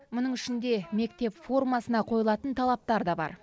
мұның ішінде мектеп формасына қойылатын талаптар да бар